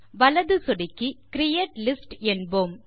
வலது சொடுக்கி create list என்போம்